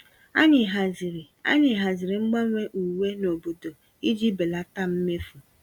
Anyị haziri Anyị haziri mgbanwe uwe n'obodo iji belata mmefu.